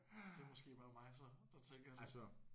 Det er måske bare mig så der tænker sådan